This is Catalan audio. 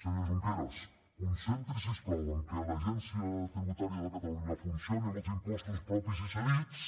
senyor junqueras concentri’s si us plau en que l’agència tributària de catalunya funcioni amb els impostos propis i cedits